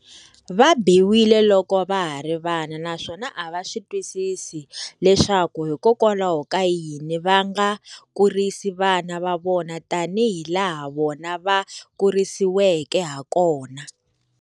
Va biwile loko va ha ri vana naswona a va swi twisisi leswaku hikokwalaho ka yini va nga kurisi vana va vona tanihilaha vona va kurisiweke hakona.